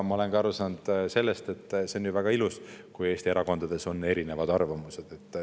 Ma olen aru saanud ka sellest, et see on ju väga ilus, kui Eesti erakondades on erinevad arvamused.